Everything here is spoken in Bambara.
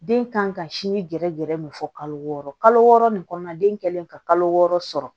Den kan ka sinji gɛrɛ gɛrɛ min fɔ kalo wɔɔrɔ kalo wɔɔrɔ nin kɔnɔna den kɛlen ka kalo wɔɔrɔ sɔrɔ